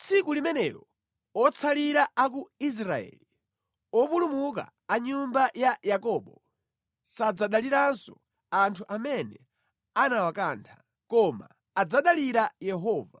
Tsiku limenelo otsalira a ku Israeli, opulumuka a nyumba ya Yakobo, sadzadaliranso anthu amene anawakantha, koma adzadalira Yehova,